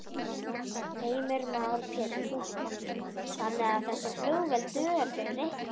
Heimir Már Pétursson: Þannig að þessi flugvél dugar fyrir reikningnum?